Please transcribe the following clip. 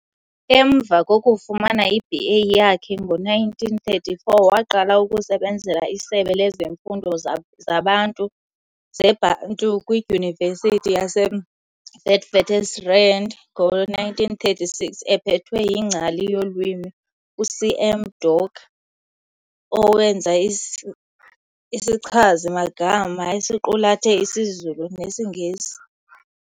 Emva kokufumana iB.A yakhe ngo-1934, waqala ukusebenzela isebe lezifundo zeBantu kwiDyunivesithi yaseWitswatersrand ngo-1936 ephethwe yingcali yolwimi uC.M Doke owenza isichazi-magama esiqulethe isiZulu nesiNgesi.